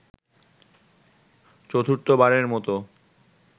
চতুর্থবারের মতো